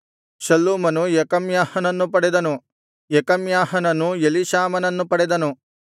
ಶಲ್ಲೂಮನು ಯೆಕಮ್ಯಾಹನನ್ನು ಪಡೆದನು ಯೆಕಮ್ಯಾಹನನು ಎಲೀಷಾಮನನ್ನು ಪಡೆದನು